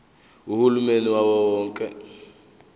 uhulumeni wawo wonke